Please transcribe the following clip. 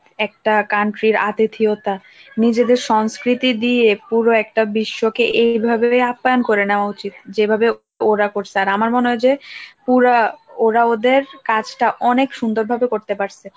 একটা country র অতিথিয়তা নিজেদের সংস্কৃতি দিয়ে পুরো একটা বিশ্বকে এইভাবে আপ্যায়ন করে নেওয়া উচিত যেভাবে ওরা করছে আর আমার মনে হয় যে পুরা ওরা ওদের কাজটা অনেক সুন্দর ভাবে করতে পারছে